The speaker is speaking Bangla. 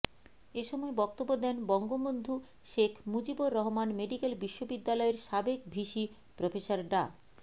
এ সময় বক্তব্য দেন বঙ্গবন্ধু শেখ মুজিবুর রহমান মেডিকেল বিশ্ববিদ্যালয়ের সাবেক ভিসি প্রফেসর ডা